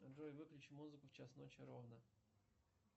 джой выключи музыку в час ночи ровно